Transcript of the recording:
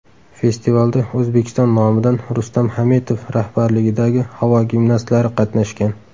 Festivalda O‘zbekiston nomidan Rustam Hametov rahbarligidagi havo gimnastlari qatnashgan.